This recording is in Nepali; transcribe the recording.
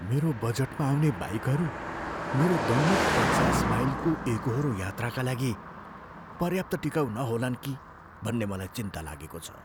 मेरो बजेटमा आउने बाइकहरू मेरो दैनिक पचास माइलको एकोहोरो यात्राका लागि पर्याप्त टिकाउ नहोलान् कि भन्ने मलाई चिन्ता लागेको छ।